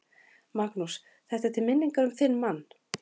Magnús: Þetta er til minningar um þinn mann?